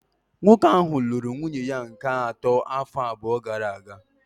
Nwoke ahụ lụrụ nwunye ya nke atọ afọ abụọ gara aga